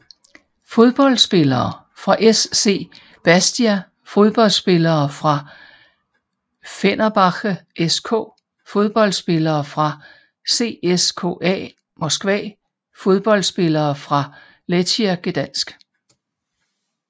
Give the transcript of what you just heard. Fodboldspillere fra SC Bastia Fodboldspillere fra Fenerbahçe SK Fodboldspillere fra CSKA Moskva Fodboldspillere fra Lechia Gdańsk